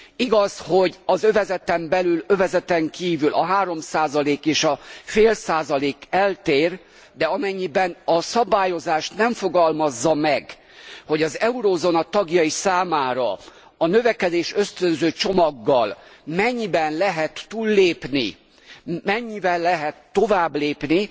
Igaz, hogy az övezeten belül övezeten kívül a három százalék és a fél százalék eltér, de amennyiben a szabályozás nem fogalmazza meg, hogy az eurózóna tagjai számára a növekedésösztönző csomaggal mennyiben lehet túllépni, mennyivel lehet továbblépni,